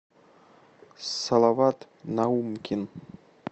салават наумкин